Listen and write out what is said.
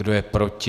Kdo je proti?